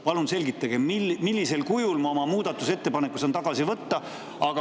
Palun selgitage, millisel kujul ma saan oma muudatusettepaneku tagasi võtta.